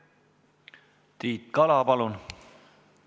Tiit Kala, palun!